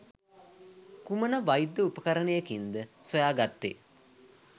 කුමන වෛද්‍ය උපකරණයකින්ද සොයාගත්තේ?